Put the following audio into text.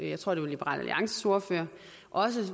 jeg tror det var liberal alliances ordfører